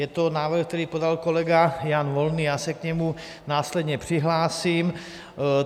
Je to návrh, který podal kolega Jan Volný, já se k němu následně přihlásím.